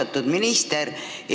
Austatud minister!